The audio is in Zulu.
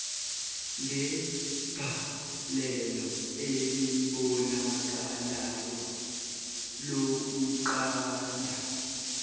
ngegalelo elibonakalayo lokunqanda